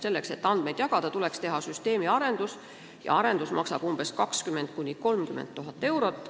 Selleks, et andmeid jagada, tuleks süsteemi arendada ja see maksaks 20 000 – 30 000 eurot.